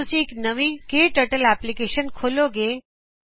ਜੱਦ ਤੁਸੀ ਇਕ ਨਵੀ ਕੇ ਟਰਟਲ ਐਪਲੀਕੇਸ਼ਨ ਖੋਲੋਗੇ